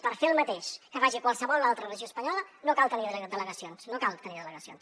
per fer el mateix que faci qualsevol altra regió espanyola no cal tenir delegacions no cal tenir delegacions